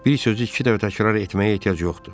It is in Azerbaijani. "Bir sözü iki dəfə təkrar etməyə ehtiyac yoxdur."